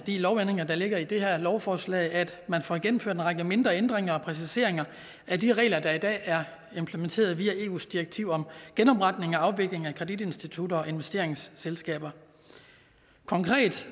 lovændringer der ligger i det her lovforslag at man får gennemført en række mindre ændringer og præciseringer af de regler der i dag er implementeret via eus direktiv om genopretning og afvikling af kreditinstitutter og investeringsselskaber konkret